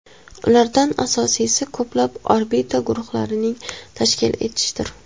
Ulardan asosiysi ko‘plab orbital guruhlarni tashkil etishdir.